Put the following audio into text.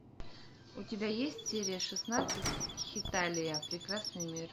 у тебя есть серия шестнадцать хеталия прекрасный мир